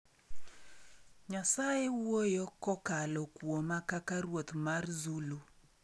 Nyasaye wuoyo kokalo kuoma kaka ruoth mar Zulu